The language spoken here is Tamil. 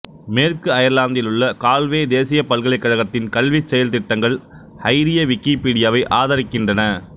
மேற்கு அயர்லாந்திலுள்ள கால்வே தேசிய பல்கலைக்கழகத்தின் கல்விச் செயல்திட்டங்கள் ஐரிய விக்கிப்பீடியாவை ஆதரிக்கின்றன